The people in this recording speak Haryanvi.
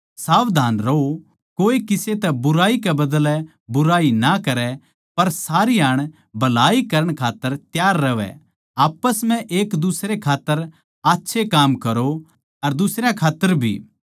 सावधान रहों कोए किसे तै बुराई कै बदलै बुराई ना करै पर सारी हाण भलाई करण खात्तर त्यार रहवै आप्पस म्ह एक दुसरे खात्तर आच्छे काम करो अर दुसरयां खात्तर भी